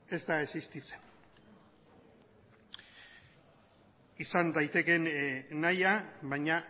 ez da existitzen izan daitekeen nahia baina